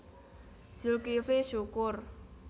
Zulkifly Syukur